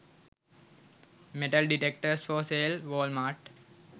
metal detectors for sale walmart